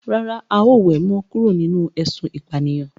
Rárá, a ó we mo kúrò nínú ésun ìpànìyàn